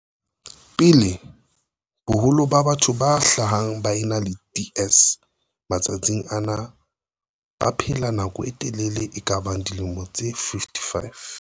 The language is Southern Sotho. pele, boholo ba batho ba hlahang ba ena le DS matsatsing ana ba baphela nako e telele e kabang dilemo tse 55.